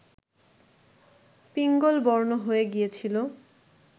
পিঙ্গলবর্ণ হয়ে গিয়েছিল